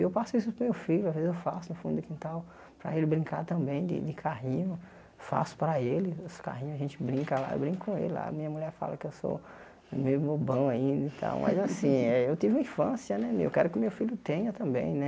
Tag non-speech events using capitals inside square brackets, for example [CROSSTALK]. E eu passo isso para o meu filho, às vezes eu faço no fundo do quintal, para ele brincar também de de carrinho, faço para ele, os carrinhos a gente brinca lá, eu brinco com ele lá, minha mulher fala que eu sou meio bobão ainda e tal, [LAUGHS] mas assim, eu tive uma infância, né meu, eu quero que o meu filho tenha também, né.